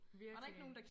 Virkelig